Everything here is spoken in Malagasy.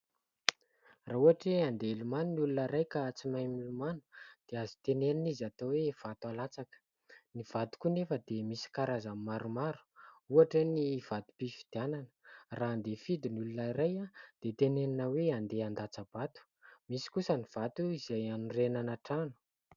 Raha ohatra hoe handeha hilomano ny olona iray ka tsy mahay milomano dia azo tenenina izy atao hoe vato alatsaka. Ny vato koa anefa dia misy karazany maromaro ohatra ny vatom-pifidianana, raha handeha hifidy ny olona iray dia tenenina hoe andeha an-datsabato. Misy kosa ny vato izay hanorenana trano.